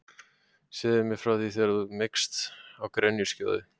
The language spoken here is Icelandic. Segðu mér frá því þegar þú meigst á grenjuskjóðu.